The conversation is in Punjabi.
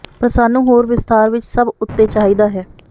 ਪਰ ਸਾਨੂੰ ਹੋਰ ਵਿਸਥਾਰ ਵਿੱਚ ਸਭ ਉੱਤੇ ਚਾਹੀਦਾ ਹੈ